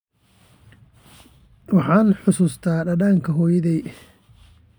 Waxaan xusuustaa dhadhanka hooyaday.